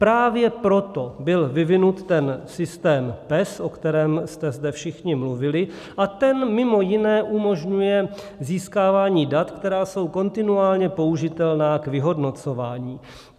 Právě proto byl vyvinut ten systém PES, o kterém jste zde všichni mluvili, a ten mimo jiné umožňuje získávání dat, která jsou kontinuálně použitelná k vyhodnocování.